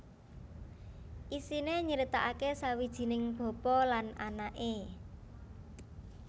Isiné nyritakaké sawijining bapa lan anaké